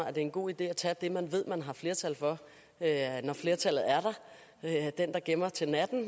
at det er en god idé at tage det man ved man har flertal for når flertallet er der den der gemmer til natten